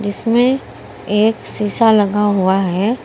इसमें एक शीशा लगा हुआ है।